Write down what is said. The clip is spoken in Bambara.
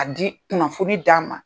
A di, kunnafoni d'an ma.